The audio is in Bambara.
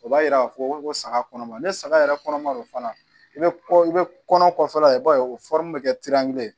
O b'a yira k'a fɔ ko saga kɔnɔma ni saga yɛrɛ kɔnɔ ma don fana i bɛ i bɛ kɔnɔ kɔfɛla ye i b'a ye o bɛ kɛ